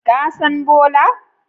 Ka san Bola?